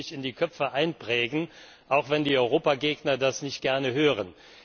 Das muss sich in die Köpfe einprägen, auch wenn die Europagegner das nicht gerne hören.